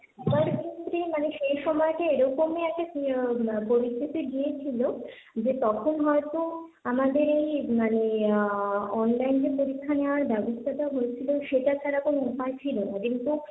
মানে সেই সময়টা এরকমই একটা পরিস্থিতি গিয়েছিল, যে তখন হয়তো আমাদের এই মানে আহ Online এ পরীক্ষা নেওয়ার ব্যবস্থাটা হয়েছিল সেটা ছাড়া কোন উপায় ছিল না, যেহেতু,